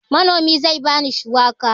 Manomi zai ba ni shuwaka.